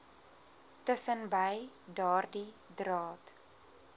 tussenbei daardie draad